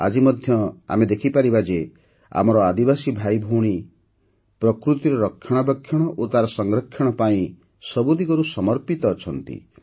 ଆଜି ମଧ୍ୟ ଆମେ ଦେଖିପାରିବା ଯେ ଆମର ଆଦିବାସୀ ଭାଇଭଉଣୀ ପ୍ରକୃତିର ରକ୍ଷଣାବେକ୍ଷଣ ଓ ତାର ସଂରକ୍ଷଣ ପାଇଁ ସବୁଦିଗରୁ ସମର୍ପିତ ଅଛନ୍ତି